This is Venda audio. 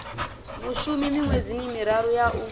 mushumi miṅwedzini miraru ya u